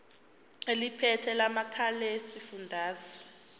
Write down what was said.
eliphethe lamarcl esifundazwe